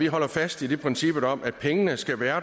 holder fast i princippet om at pengene skal være